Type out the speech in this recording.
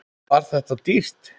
Var þetta dýrt?